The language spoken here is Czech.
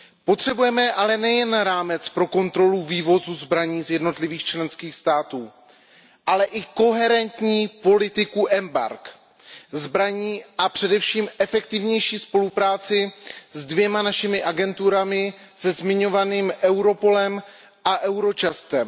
Potřebujeme ale nejen rámec pro kontrolu vývozu zbraní z jednotlivých členských států, ale i koherentní politiku embarg na zbraně a především efektivnější spolupráci se dvěma našimi agenturami, se zmiňovaným Europolem a Eurojustem.